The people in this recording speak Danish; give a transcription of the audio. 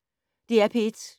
DR P1